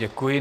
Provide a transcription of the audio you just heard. Děkuji.